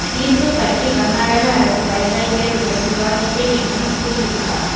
தீர்ப்பு பற்றி கர்நாடக அரசு வழக்கறிஞர் உடன் விவாதிப்பேன் என்றும் கூறி யிருக்கார்